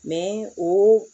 o